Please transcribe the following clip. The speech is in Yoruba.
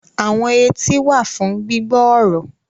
Awọn eti wa fun gbigbọ ọrọ